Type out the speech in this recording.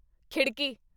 ਖਿੜਕੀ